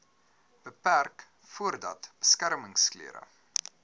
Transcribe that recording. beperk voordat beskermingsklere